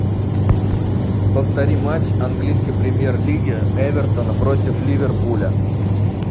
повтори матч английской премьер лиги эвертона против ливерпуля